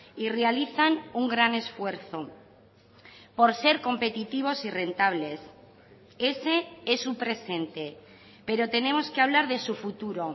y realizan un gran esfuerzo por ser competitivos y rentables ese es su presente pero tenemos que hablar de su futuro